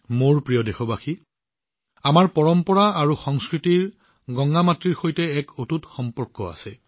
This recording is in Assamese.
মোৰ মৰমৰ দেশবাসীসকল আমাৰ পৰম্পৰা আৰু সংস্কৃতিৰ সৈতে মা গংগাৰ এক অটুট সম্পৰ্ক আছে